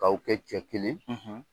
K'aw kɛ cɛkelen